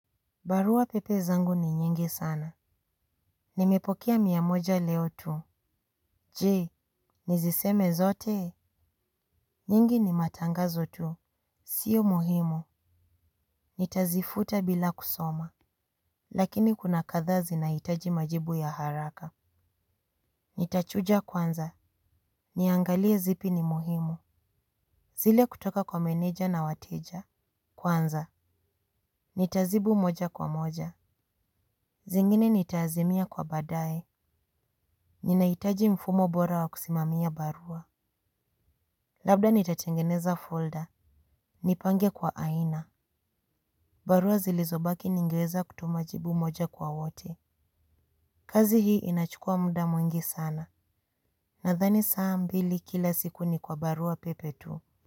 Barua pepe zangu ni nyingi sana. Nimepokea mia moja leo tu. Jee, nizisome zote. Nyingi ni matangazo tu. Sio muhimu. Nitazifuta bila kusoma. Lakini kuna kadhaa zinahitaji majibu ya haraka. Nitachuja kwanza. Niangalie zipi ni muhimu. Zile kutoka kwa meneja na wateja. Kwanza. Nitazibu moja kwa moja. Zingine nitaazimia kwa badae. Ninahitaji mfumo bora wa kusimamia barua. Labda nitatengeneza folder. Nipange kwa aina. Barua zilizobaki ningeweza kutuma jibu moja kwa wote. Kazi hii inachukua muda mwingi sana. Nadhani saa mbili kila siku ni kwa barua pepe tu.